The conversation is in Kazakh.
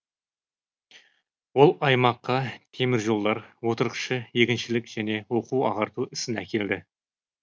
ол аймаққа теміржолдар отырықшы егіншілік және оқу ағарту ісін әкелді